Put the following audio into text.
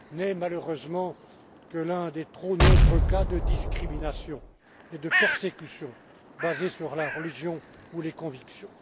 Il n'est malheureusement que l'un des trop nombreux cas de discrimination et de persécution basés sur la religion ou les convictions.